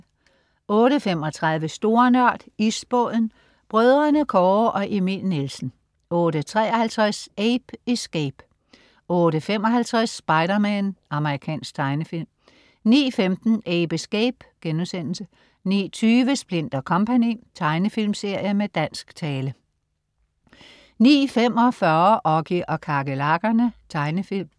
08.35 Store Nørd. Isbåden. Brødrene Kåre og Emil Nielsen 08.53 Ape Escape 08.55 Spider-Man. Amerikansk tegnefilm 09.15 Ape Escape* 09.20 Splint & Co. Tegnefilmserie med dansk tale 09.45 Oggy og kakerlakkerne. Tegnefilm